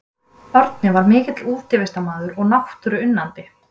Árni var mikill útivistarmaður og náttúruunnandi.